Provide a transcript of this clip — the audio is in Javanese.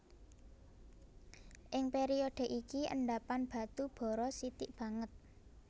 Ing période iki endhapan batu bara sithik banget